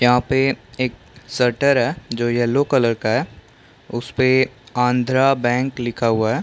यह पे एक शटर है जो येल्लो कलर का है उसपे आंध्रा बैंक लिखा हुआ है।